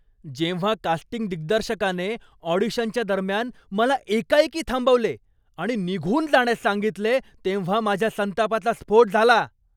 जेव्हा कास्टिंग दिग्दर्शकाने ऑडिशनच्या दरम्यान मला एकाएकी थांबवले आणि निघून जाण्यास सांगितले तेव्हा माझ्या संतापाचा स्फोट झाला.